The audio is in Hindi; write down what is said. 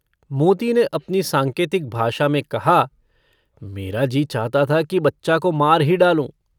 मोती ने अपनी सांकेतिक भाषा में कहा - मेरा जी चाहता था कि बच्चा को मार ही डालूँ।